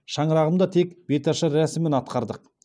шаңырағымда тек беташар рәсімін атқардық